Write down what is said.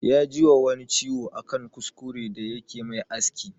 Ya ji wa wani ciwo a kan kuskure da yake mai aski